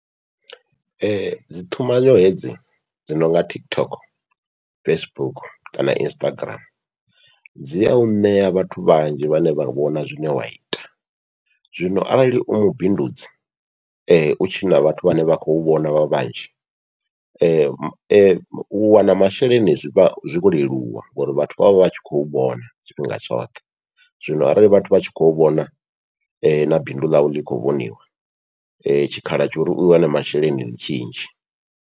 Dzi ṱumanyo hedzi dzi nonga TikTok, Facebook kana Instagram dzi au ṋea vhathu vhanzhi vhane vha vhona zwine wa ita, zwino arali u mubindudzi u tshina vhathu vhane vha khou vhona vhanzhi, u wana masheleni zwivha zwo leluwa ngori vhathu vha vha vha vha tshi khou vhona tshifhinga tshoṱhe. Zwino arali vhathu vha tshi khou vhona na bindu ḽau ḽi kho vhoniwa, tshikhala tsha uri u wane masheleni ndi tshinzhi.